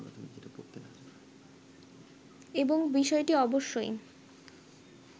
এবং বিষয়টি অবশ্যই